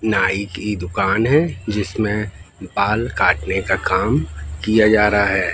नाई की दुकान है जिसमें बाल काटने का काम किया जा रहा है।